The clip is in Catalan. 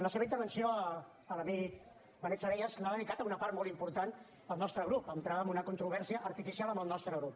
la seva intervenció l’amic benet salellas l’ha dedicat en una part molt important al nostre grup a entrar en una controvèrsia artificial amb el nostre grup